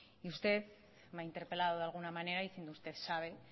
y usted me ha interpelado de alguna manera y como usted sabe